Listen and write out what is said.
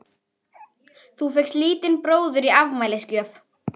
Örn þessu leyndu fyrir okkur Jónsa?